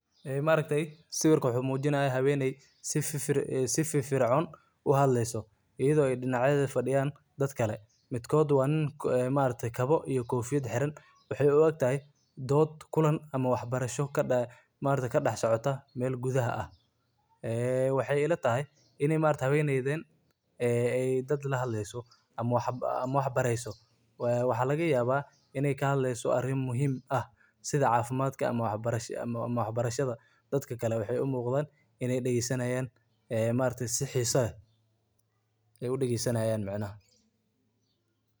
Ee maargtahay sawirka waxumujinahaya haweeney si firficun u hadleysoh eyado dinacyan dadkali, midkoot wa nin maargtay Qaboh kufiyaat xeeran waxay oo egtahay ddod amah kadaxsocitoh meel kuthaa aah waxa ilatahay in maaragtay hawnethan ee ay dad la hadleysoh amah waxbareysoh wa xalagayabah ini kahadleysoh arima muhim aah setha cafimdkaa amah waxbarashada dadkali waxay u muqdah inay degaha dagesanayan maaragtay si xeesa leeh u dageysanyin macanaha .